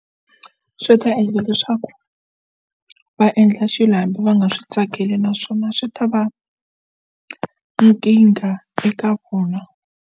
Swi ta endla leswaku va endla xilo hambi va nga swi tsakeli naswona swi ta va nkingha eka vona.